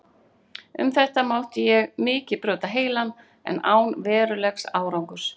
Um þetta mátti ég mikið brjóta heilann, en án verulegs árangurs.